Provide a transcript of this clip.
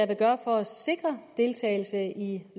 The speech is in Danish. vil gøre for at sikre deltagelse i